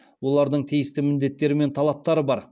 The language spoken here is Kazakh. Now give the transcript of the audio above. олардың тиісті міндеттері мен талаптары бар